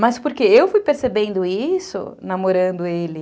Mas porque eu fui percebendo isso namorando ele.